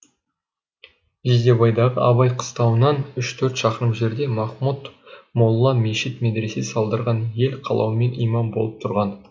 жидебайдағы абай қыстауынан үш төрт шақырым жерде махмұд молда мешіт медресе салдырған ел қалауымен имам болып тұрған